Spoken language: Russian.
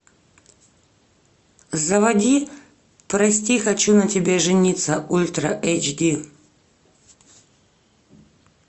заводи прости хочу на тебе жениться ультра эйч ди